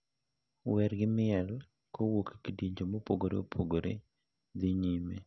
Wer gi miel kowuok e kidienje mopogore opogore dhi nyime.